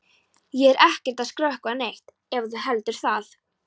Ég er ekkert að skrökva neitt ef þú heldur það.